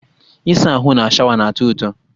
Ịsa ahụ na shawa na-atọ ụtọ